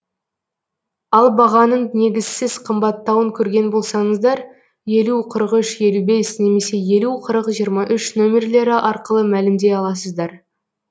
ал бағаның негізсіз қымбаттауын көрген болсаңыздар елу қырық үш елу бес немесе елу қырық жиырма үш нөмірлері арқылы мәлімдей аласыздар